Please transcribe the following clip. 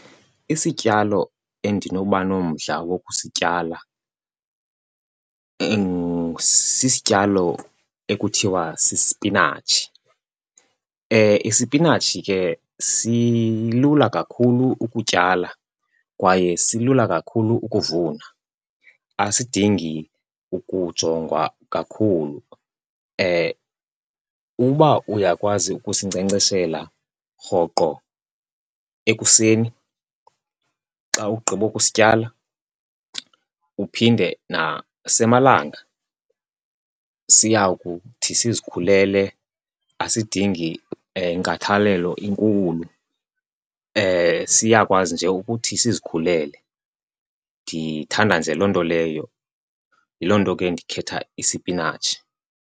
Isityalo endinoba nomdla wokusityala sisityalo ekuthiwa sispinatshi. Isipinatshi ke silula kakhulu ukutyala kwaye silula kakhulu ukuvuna, asidingi ukujongwa kakhulu. Uba uyakwazi ukusinkcenkceshela rhoqo ekuseni xa ugqibokusityala uphinde nasemalanga, siya kuthi sizikhulele. Asidingi nkathalelo inkulu, siyakwazi nje ukuthi sizikhulele, ndithanda nje loo nto leyo. Yiloo nto ke ndikhetha isipinatshi.